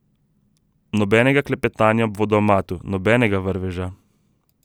Nobenega klepetanja ob vodomatu, nobenega vrveža.